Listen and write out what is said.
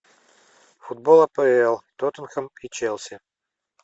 футбол апл тоттенхэм и челси